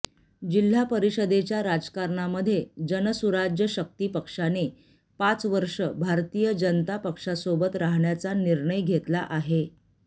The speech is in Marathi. जिल्हा परिषदेच्या राजकारणामध्ये जनसुराज्य शक्ती पक्षाने पाच वर्षे भारतीय जनता पक्षासोबत राहण्याचा निर्णय घेतला आहे